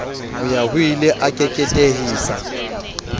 ho ya hoile a keketehisa